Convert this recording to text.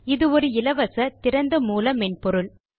இது ஒரு இலவச திறந்த மூல மென்பொருள்